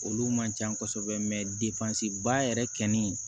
Olu man ca kosɛbɛ mɛ ba yɛrɛ kɛ ni